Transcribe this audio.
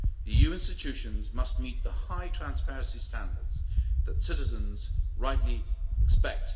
The EU institutions must meet the high transparency standards that citizens rightly expect.